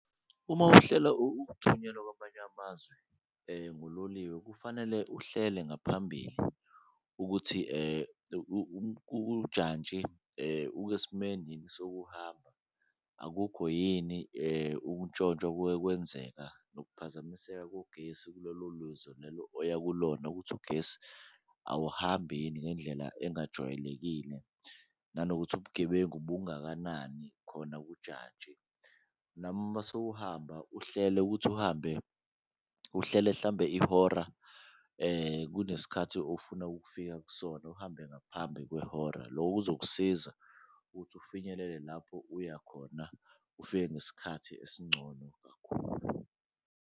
Uma uhlela ukuthunyelwa kwamanye amazwe ngololiwe kufanele uhlele ngaphambili ukuthi ujantshi yini sokuhamba, akukho yini ukutshontshwa okuke kwenzeka. Nokuphazamiseka kogesi oya kulona ukuthi ugesi awuhambi yini ngendlela engajwayelekile nanokuthi ubugebengu bungakanani khona kujantshi. Nami masewuhamba uhlele ukuthi uhambe, uhlele mhlawumbe ihora kunesikhathi ofuna ukufika kusona, uhambe ngaphambi kwehora, loko kuzokusiza ukuthi ufinyelele lapho uyakhona ufike ngesikhathi esingcono kakhulu.